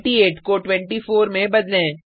28 को 24 में बदलें